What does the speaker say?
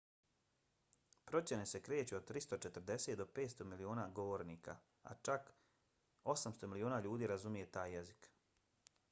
procjene se kreću od 340 do 500 miliona govornika a čak 800 miliona ljudi razumije taj jezik